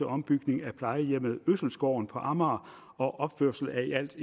ombygning af plejehjemmet øselsgården på amager og opførelse af i alt